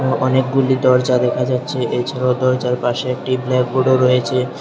অনেকগুলি দরজা দেখা যাচ্ছে এছাড়াও দরজার পাশে একটি ব্ল্যাকবোর্ডও রয়েছে।